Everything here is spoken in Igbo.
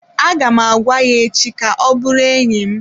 Aga m agwa ya echi ka ọ bụrụ enyi m.